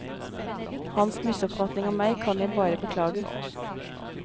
Hans misoppfatning av meg kan jeg bare beklage.